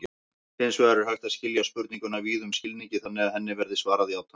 Hins vegar er hægt að skilja spurninguna víðum skilningi þannig að henni verði svarað játandi.